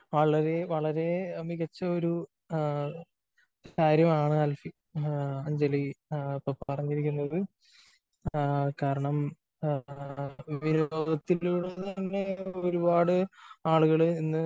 വളരെ വളരെ മികച്ച ഒരു കാര്യമാണ് അഞ്ജലി ഇപ്പോ പറഞ്ഞിരിക്കുന്നത്. കാരണം വിനോദത്തിലൂടെ തന്നെ ഒരുപാട് ആളുകള് ഇന്ന്